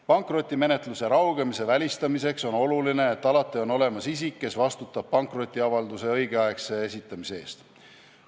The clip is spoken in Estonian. Pankrotimenetluse raugemise välistamiseks on oluline, et alati on olemas isik, kes vastutab pankrotiavalduse õigeaegse esitamise eest.